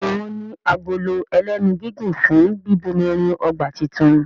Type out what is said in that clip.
Béèni wón ní Agolo ẹlẹ́nu gígùn fún bíbomirin ọgbà títún.